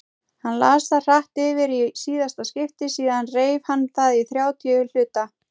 Hann las það hratt yfir í síðasta skipti, síðan reif hann það í þrjátíu hluta.